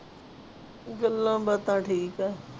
ਗੱਲਾਂ ਬਾਤਾਂ ਠੀਕ ਆ।